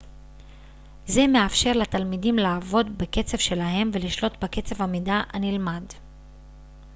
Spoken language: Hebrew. זה מאפשר לתלמידים לעבוד בקצב שלהם ולשלוט בקצב המידע הנלמד